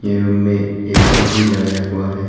ये रुम मे ए_सी भी लगाया हुआ है।